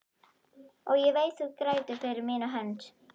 Og ég veit þú grætur fyrir mína hönd.